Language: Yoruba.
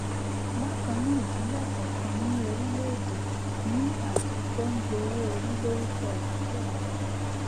bákan náà ìpínlẹ kọọkan ní orílẹ èdè ní àjọ tó ń gbowó orí lórúkọ ìpínlẹ náà